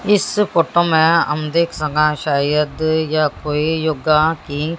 इस फोटो में हम देख सकां शायद यह कोई योगा की--